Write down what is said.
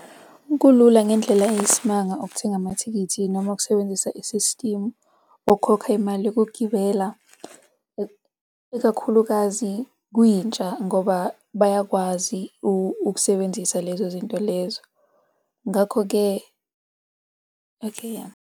Kulula ngendlela eyisimanga ukuthenga amathikithi noma ukusebenzisa isistimu okhokha imali yokugibela ikakhulukazi kwintsha ngoba bayakwazi ukusebenzisa lezo zinto lezo. Ngakho-ke okay .